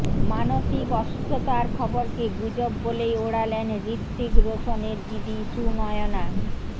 মানসিক অসুস্থতার খবরকে গুজব বলেই ওড়ালেন হৃত্বিক রোশনের দিদি সুনয়না